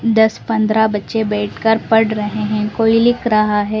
दस - पंद्रह बच्चे बैठकर पढ़ रहे हैं कोई लिख रहा है।